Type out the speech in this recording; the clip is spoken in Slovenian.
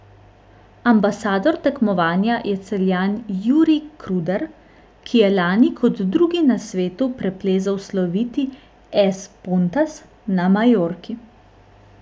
Ambasador tekmovanja je Celjan Jernej Kruder, ki je lani kot drugi na svetu preplezal sloviti Es Pontas na Majorki.